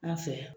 An fɛ yan